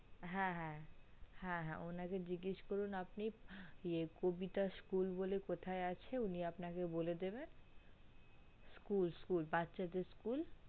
হে হে হে হে ওনাকে জিজ্ঞাস করুন আপনি কবিতা school বলে কোথায় আছে উনি আপনাকে দেবে school school বাচ্চাদের school